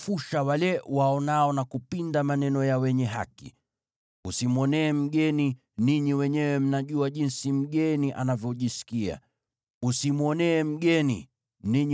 “Usimwonee mgeni; ninyi wenyewe mnajua jinsi mgeni anavyojisikia, kwa sababu mlikuwa wageni Misri.